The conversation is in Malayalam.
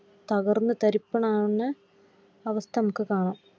കർന്ന് തരിപ്പണം ആവുന്ന അവസ്ഥ നമുക്ക് കാണാം